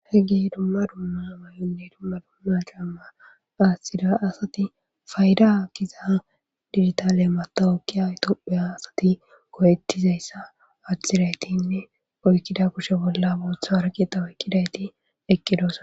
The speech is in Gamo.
He ge dumma dumma may'onne dumma dumma caama aashthida asati fayda kiza digitale matawokkiya itopheya asati koyettizayssa adhthiraytinne oykkida kushe bolla booththa waraqeta woykqidayti eqqidos.